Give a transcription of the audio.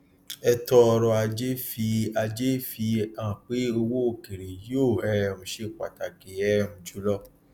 ẹtọ ọrọ ajé fi ajé fi hàn pé owó òkèèrè yóò um ṣe pàtàkì um jùlọ